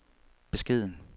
beskeden